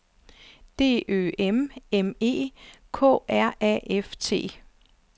D Ø M M E K R A F T